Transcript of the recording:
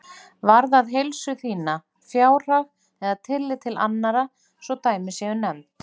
varðað heilsu þína, fjárhag eða tillit til annarra svo dæmi séu nefnd.